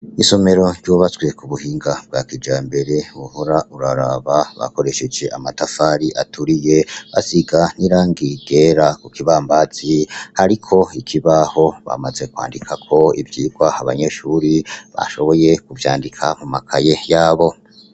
Isomero ryubatswe kubuhinga bwa kijambere wohora uraraba bakoresheje amatafari aturiye basiga nirangi ryera kukibambazi hariko ikibaho bamaze kwandikako ivyigwa abanyeshure bashoboye kuvyandika mumakaye yabo.